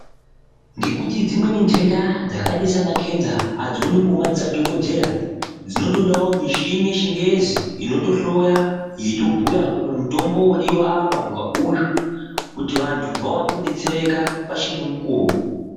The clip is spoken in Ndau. Ngekuti dzimweni ndenda dzakaita sana kenza adzi onekwi ne madziso a dhokodheya dzinotodawo michini ye chingezi inoto hloya yeito bhuya kuti mutombo wodiwa apa nge uyu kuti vantu vaone kudetsereka pachine mukuvo.